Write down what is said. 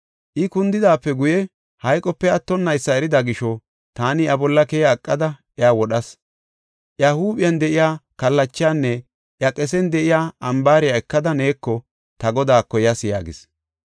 I kundidaape guye hayqope attonnaysa erida gisho taani iya bolla keya eqada iya wodhas. Iya huuphen de7iya kallachanne iya qesen de7iya ambaariya ekada neeko ta godaako yas” yaagis.